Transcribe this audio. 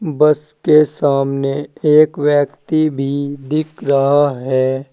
बस के सामने एक व्यक्ति भी दिख रहा है।